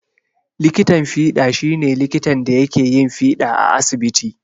Likitan fiɗa shi ne likitan da yake yin fiɗa a asibiti.